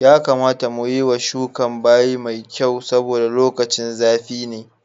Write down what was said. Ya kamata mu yiwa shukan bayi mai kyau saboda lokacin zafi ne.